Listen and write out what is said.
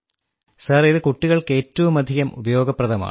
sir ഇത് കുട്ടികൾക്ക് ഏറ്റവുമധികം ഉപയോഗപ്രദമാണ്